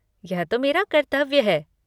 यह तो मेरा कर्तव्य है।